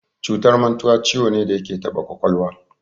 Cutar mantuwa ciwo ne da yake taɓa ƙwaƙwalwa.